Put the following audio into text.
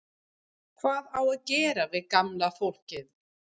Hvað á að gera við gamla fólkið?